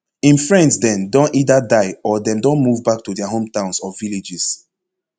im friends den don either die or dem don move back to dia hometowns or villages